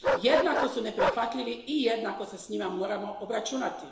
Jednako su neprihvatljivi i jednako se s njima moramo obračunati.